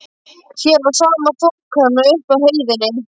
Hér var sama þokan og uppi á heiðinni.